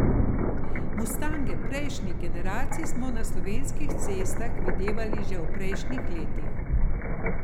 Mustange prejšnjih generacij smo na slovenskih cestah videvali že v prejšnjih letih.